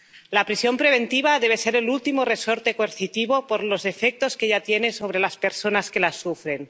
La prisión preventiva debe ser el último resorte coercitivo por los efectos que ya tiene sobre las personas que la sufren.